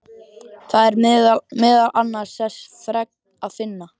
Þar er meðal annars þessa fregn að finna